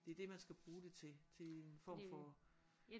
Det det man skal bruge det til til en form for